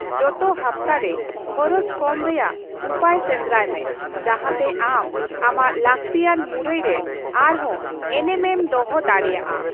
ᱡᱚᱛᱚ ᱦᱟᱯᱛᱟᱨᱮ ᱠᱷᱚᱨᱚᱪ ᱠᱚᱢ ᱨᱮᱭᱟᱜ ᱩᱯᱟᱹᱭ ᱥᱮᱱᱫᱨᱟᱭ ᱢᱮ ᱡᱟᱦᱟᱸᱛᱮ ᱟᱢ ᱟᱢᱟᱜ ᱞᱟᱹᱠᱛᱤᱭᱟᱱ ᱢᱩᱨᱟᱹᱭ ᱨᱮ ᱟᱨᱦᱚᱸ ᱮᱱᱮᱢ ᱮᱢ ᱫᱚᱦᱚ ᱫᱟᱲᱮᱭᱟᱜᱼᱟ ᱾